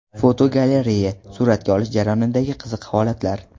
Fotogalereya: Suratga olish jarayonidagi qiziq holatlar.